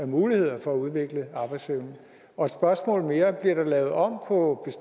muligheden for at udvikle arbejdsevnen og et spørgsmål mere bliver der lavet om på